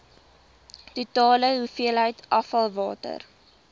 totale hoeveelheid afvalwater